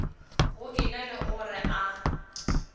go ena le gore a